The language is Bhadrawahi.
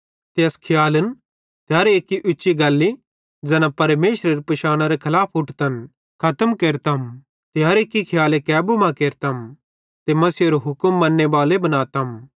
ते अस खियालन ते हर एक्की उच्ची गल्ली ज़ैना परमेशरेरी पिशानरे खलाफ उट्ठतन खतम केरतम ते हर एक्की खियाले कब्ज़े मां केरतम ते मसीहेरो हुक्म मन्ने बालो बनातम